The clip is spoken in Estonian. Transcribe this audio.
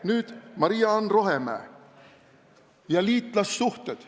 Nüüd, Maria-Ann Rohemäe ja liitlassuhted.